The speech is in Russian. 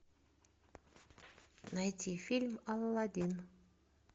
найти фильм алладин